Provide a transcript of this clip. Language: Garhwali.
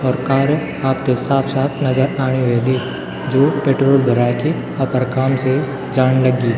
और कार आपथे साफ़-साफ़ नजर आणि वेली जू पेट्रोल भरा की अपर काम से जाण लगी।